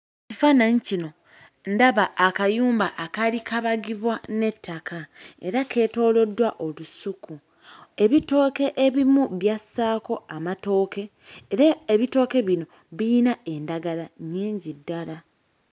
Kifaananyi kino ndaba akayumba akaali kabagibwa n'ettaka era keetooloddwa olusuku. Ebitooke ebimu byassaako amatooke, era ebitooke bino biyina endagala nnyingi ddala.